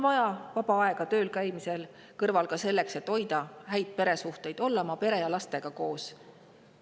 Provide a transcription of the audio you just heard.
Vaba aega on vaja töölkäimise kõrvalt ka selleks, et hoida häid peresuhteid ning olla pere ja lastega koos.